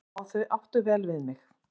Já, þau áttu vel við mig